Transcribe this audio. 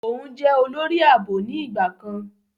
Òún jẹ olori aabo ni ìgbà kan.